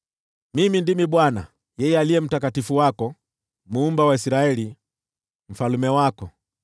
Mimi ndimi Bwana , yeye Aliye Mtakatifu wako, Muumba wa Israeli, Mfalme wako.”